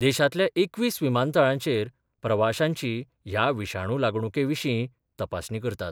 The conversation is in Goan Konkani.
देशांतल्या एकवीस विमानतळांचेर प्रवाश्यांची ह्या विशाणू लागणुके विशीं तपासणी करतात.